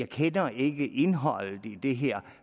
kender ikke indholdet i det her